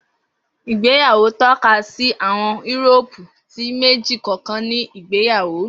Igbeyawo tọkasi àwọn Euroopu ti meji kọọkan ni igbeyawo.